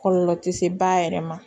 Kɔlɔlɔ tɛ se ba yɛrɛ ma